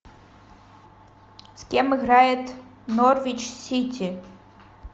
с кем играет норвич сити